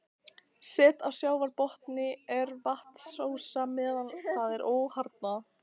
Set á sjávarbotni er vatnsósa meðan það er óharðnað.